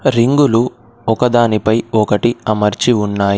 రింగులు ఒకదానిపై ఒకటి అమర్చి ఉన్నాయి.